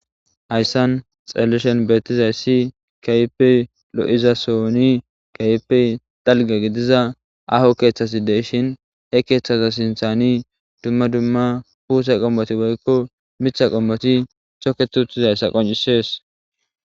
hayssan xalleshen beettizayssi kehipe lo7iza sooni kehippe dalga gidiza aho keeththasi deshin he keeththaza sinthani dumma dumma puuse qommoti boykko mitha qommoti shokke tuuttizayssa qoncisees